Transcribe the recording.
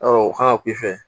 Ɔ o kan ka k'i fɛ